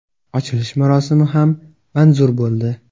Ochilish marosimi ham manzur bo‘ldi.